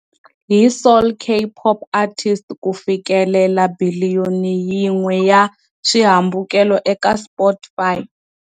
Hi solo K-pop artist ku fikelela biliyoni yin'we ya swihambukelo eka Spotify.